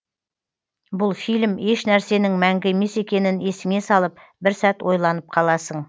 бұл фильм ешнәрсенің мәңгі емес екенін есіңе салып бір сәт ойланып қаласың